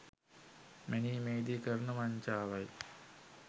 මැනීමේදී කරන වංචාවයි.